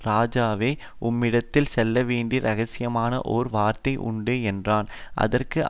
ராஜாவே உம்மிடத்தில் சொல்லவேண்டிய இரகசியமான ஒரு வார்த்தை உண்டு என்றான் அதற்கு